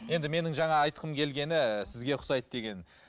енді менің жаңа айтқым келгені сізге ұқсайды деген